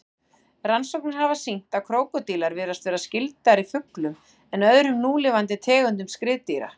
Rannsóknir hafa sýnt að krókódílar virðast vera skyldari fuglum en öðrum núlifandi tegundum skriðdýra.